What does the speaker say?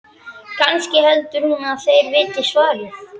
Kannski heldur hún að þeir viti svarið?